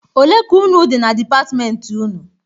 Olee k' unu dị na depatmenti ụnụ?